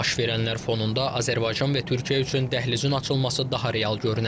Baş verənlər fonunda Azərbaycan və Türkiyə üçün dəhlizin açılması daha real görünə bilər.